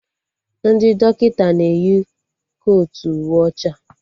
Ndị dọkịta na-eyi kotu uwe ọcha